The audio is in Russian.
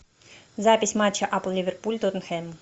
запись матча апл ливерпуль тоттенхэм